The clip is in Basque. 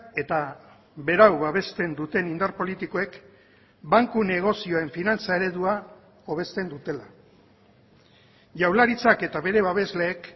eta berau babesten duten indar politikoek banku negozioen finantza eredua hobesten dutela jaurlaritzak eta bere babesleek